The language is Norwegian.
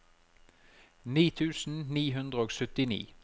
ni tusen ni hundre og syttini